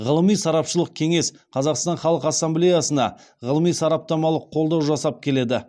ғылыми сарапшылық кеңес қазақстан халқы ассамблеясына ғылыми сараптамалық қолдау жасап келеді